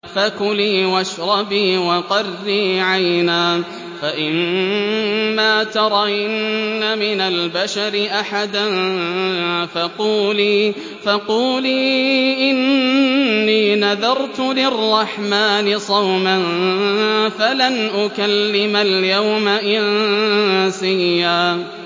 فَكُلِي وَاشْرَبِي وَقَرِّي عَيْنًا ۖ فَإِمَّا تَرَيِنَّ مِنَ الْبَشَرِ أَحَدًا فَقُولِي إِنِّي نَذَرْتُ لِلرَّحْمَٰنِ صَوْمًا فَلَنْ أُكَلِّمَ الْيَوْمَ إِنسِيًّا